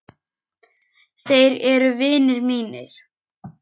Þeir eru vinir mínir.